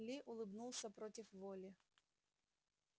ли улыбнулся против воли